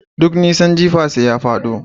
Duk nisa. Jifa sai ya fado